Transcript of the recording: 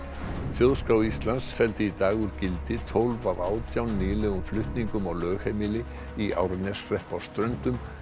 þjóðskrá Íslands felldi í dag úr gildi tólf af átján nýlegum flutningum á lögheimili í Árneshrepp á Ströndum